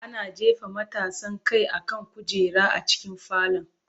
Ana jefa matasan kai akan kujera a cikin falon.